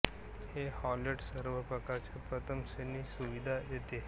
हे हॉटेल सर्व प्रकारच्या प्रथम श्रेणी सुविधा देते